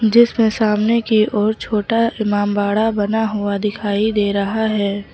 जिसमे सामने की ओर छोटा इमामबाड़ा बना हुआ दिखाई दे रहा है।